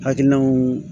Hakilinaw